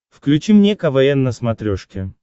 включи мне квн на смотрешке